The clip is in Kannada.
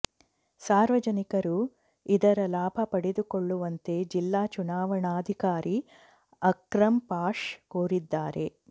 ಸಾರ್ವಜನಿಕರು ಇದರ ಲಾಭ ಪಡೆದುಕೊಳ್ಳುವಂತೆ ಜಿಲ್ಲಾ ಚುನಾವಣಾಧಿಕಾರಿ ಅಕ್ರಂ ಪಾಷ ಕೋರಿದ್ದಾರೆ